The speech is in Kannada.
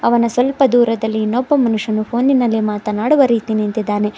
ಅವನ ಸ್ವಲ್ಪ ದೂರದಲ್ಲಿ ಇನೊಬ್ಬ ಮನುಷ್ಯನು ಪೋನಿ ನಲ್ಲಿ ಮಾತನಾಡುವ ರೀತಿ ನಿಂತಿದ್ದಾನೆ.